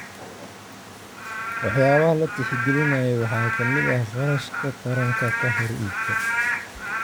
Waxyaabaha la tixgelinayo waxaa ka mid ah kharashka taranka ka hor iibka.